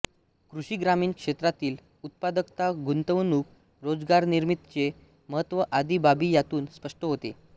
कृषी ग्रामीण क्षेत्रातील उत्पादकता गुंतवणूक रोजगारनिर्मितीचे महत्त्व आदी बाबी यातून स्पष्ट होते